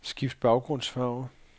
Skift baggrundsfarve.